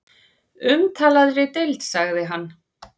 Umtalaðri deild sagði hann.